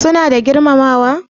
Suna da girmamawa?